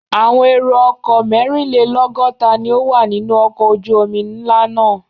Àwọn èrò-ọkọ̀ mẹ́rinlélọ́gọ́ta ni ó wà nínú ọkọ̀ ojú-omi ńlá náà.